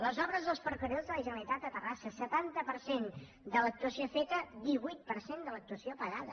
les obres dels ferrocarrils de la generalitat a terrassa setanta per cent de l’actuació feta divuit per cent de l’actuació pagada